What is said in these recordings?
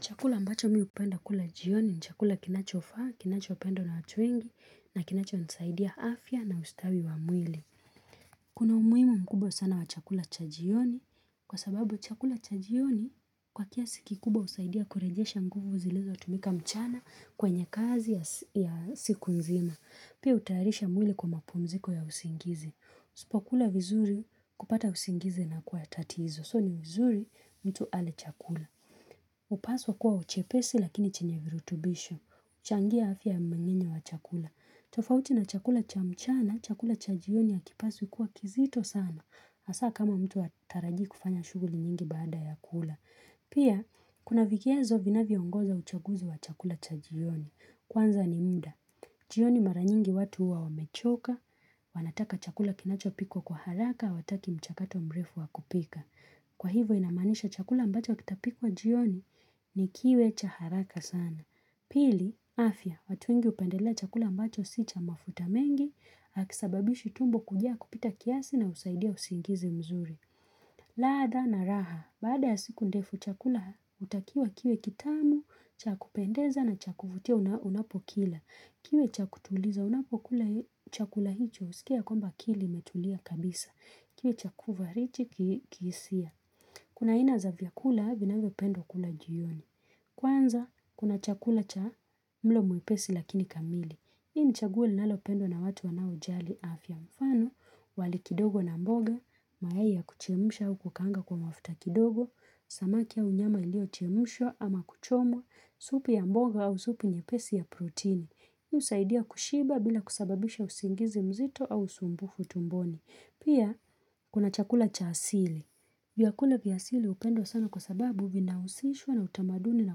Chakula ambacho mi hupenda kula jioni, chakula kinachofaa, kinachopendwa na watu wengi, na kinachonsaidia afya na ustawi wa mwili. Kuna umuhimu mkubwa sana wa chakula cha jioni, kwa sababu chakula cha jioni kwa kiasi kikubwa husaidia kurejesha nguvu zilizo tumika mchana kwenye kazi ya siku nzima. Pia hutayarisha mwili kwa mapumziko ya usingizi. Usipo kula vizuri kupata usingizi inakuwa tatizo, so ni vizuri mtu ale chakula. Upaswa kuwa uchepesi lakini chenye virutubisho. Uchangia afya mmengenyo wa chakula. Tofauti na chakula cha mchana, chakula cha jioni hakipasui kuwa kizito sana. Asa kama mtu hataraji kufanya shuguli nyingi baada ya kula. Pia, kuna vigezo vina viongoza uchaguzi wa chakula cha jioni. Kwanza ni muda. Jioni mara nyingi watu huwa wamechoka, wanataka chakula kinachopikwa kwa haraka, wataki mchakato mrefu wa kupika. Kwa hivyo inamanisha chakula ambacho kitapikuwa jioni ni kiwe cha haraka sana. Pili, afya, watu wengi hupendelea chakula ambacho si cha mafuta mengi, haki sababishi tumbo kujia kupita kiasi na husaidia usiingizi mzuri. Ladha na raha, baada ya siku ndefu chakula hutakiwa kiwe kitamu, cha kupendeza na cha kufutia unapokila. Kiwe cha kutuliza unapokula chakula hicho, usikie ya kwamba akili imetulia kabisa. Kiwe cha kuvarichi kihisia. Kuna aina za vyakula, vinavyo pendwa kulwa jioni. Kwanza, kuna chakula cha mlo mwepesi lakini kamili. Ini chaguo linalo pendwa na watu wanao jali afya mfano, wali kidogo na mboga, mayai ya kuchemusha au kukanga kwa mafuta kidogo, samaki au nyama iliyo chemushwa ama kuchomwa, supu ya mboga au supu nyepesi ya protein. Husaidia kushiba bila kusababisha usingizi mzito au usumbufu tumboni. Pia, kuna chakula cha asili. Vyakula viasili hupenwa sana kwa sababu vinausishwa na utamaduni na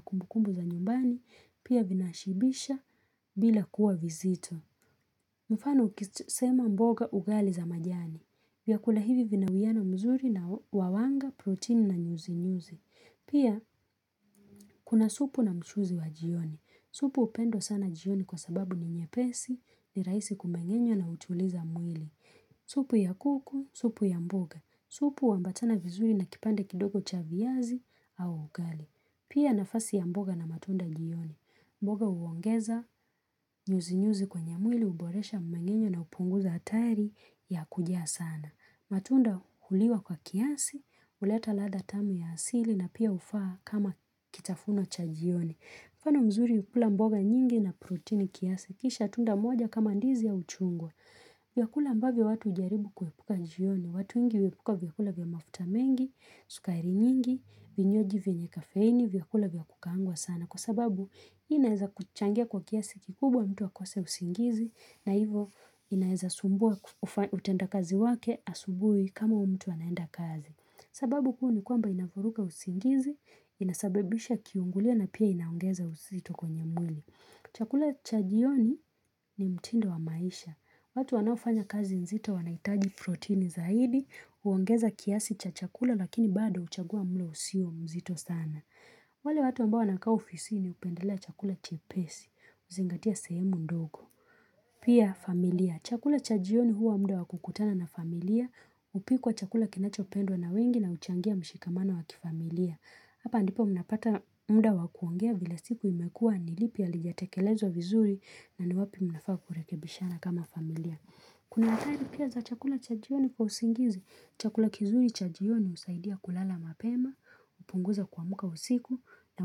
kumbukumbu za nyumbani. Pia vinaashibisha bila kuwa vizito. Mfano ukisema mboga ugali za majani. Vyakula hivi vinauiano mzuri na wawanga, protein na nyuzi-nyuzi. Pia kuna supu na mchuzi wa jioni. Supu hupendwa sana jioni kwa sababu ni nyepesi ni raisi kumengenywa na hutuliza mwili. Supu ya kuku, supu ya mboga. Supu huambatana vizuri na kipande kidogo cha viazi au ugali. Pia nafasi ya mboga na matunda jioni. Mboga huongeza nyuzi nyuzi kwenye mwili huboresha mmengenyo na upunguza hatari ya kuja sana. Matunda huliwa kwa kiasi, huleta ladha tamu ya asili na pia hufaa kama kitafuno cha jioni. Mfano mzuri kukula mboga nyingi na protini kiasi, kisha tunda moja kama ndizi au chungwa. Vyakula ambavyo watu hujaribu kuepuka jioni, watu wengi huepuka vyakula vya mafuta mengi, sukari nyingi, vinywaji vyenye kafeini, vyakula vya kukaangwa sana. Na kwa sababu hii inaeza kuchangia kwa kiasi kikubwa mtu akose usingizi na hivo inaeza sumbuwa mtenda kazi wake asubui kama huyu mtu anaenda kazi. Sababu kuu ni kwamba inavuruga usingizi, inasabibisha kiungulio na pia inaongeza uzito kwenye mwili. Chakula cha jioni ni mtindo wa maisha. Watu wanaofanya kazi nzito wanaitaji protini zaidi, huongeza kiasi cha chakula lakini bado huchagua mlo usio mzito sana. Wale watu Ambo wanaka ofisini hupendelea chakula chepesi, huzingatia sehemu ndogo. Pia familia, chakula cha jioni huwa muda wakukutana na familia, hupikuwa chakula kinacho pendwa na wengi na huchangia mshikamano wakifamilia. Hapa ndipo mnapata muda wakuongea vile siku imekua nilipi halijatekelezwa vizuri na ni wapi mnafaa kurekebishana kama familia. Kuna hatari pia za chakula cha jioni kwa usingizi, chakula kizuri cha jioni husaidia kulala mapema, hupunguza kuamuka usiku na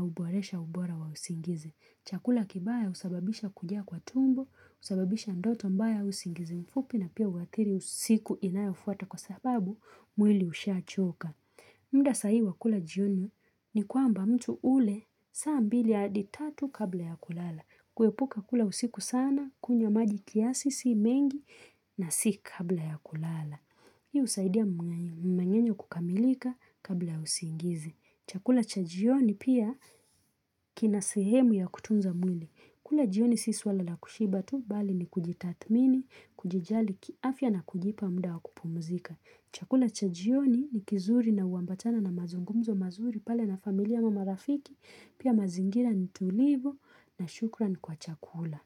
huboresha ubora wa usingizi. Chakula kibaya husababisha kuja kwa tumbo, husababisha ndoto mbaya usingizi mfupi na pia huathiri usiku inayofuata kwa sababu mwili ushaa choka. Muda sai hii wakula jioni ni kwamba mtu ule saa mbili hadi tatu kabla ya kulala. Kuepuka kula usiku sana, kunywa maji kiasi si mengi na si kabla ya kulala. Hii husaidia mngengenyo kukamilika kabla ya usingizi. Chakula cha jioni pia kinasehemu ya kutunza mwili. Kula jioni si swala la kushiba tu, bali ni kujitathmini, kuji jali kiafya na kujipa muda wakupumuzika. Chakula chajioni ni kizuri na huambatana na mazungumzo mazuri pale na familia ama marafiki, pia mazingira ni tulivu na shukran kwa chakula.